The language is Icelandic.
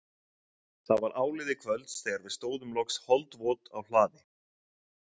Það var áliðið kvölds þegar við stóðum loks holdvot á hlaði